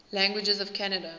languages of canada